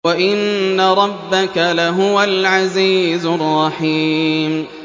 وَإِنَّ رَبَّكَ لَهُوَ الْعَزِيزُ الرَّحِيمُ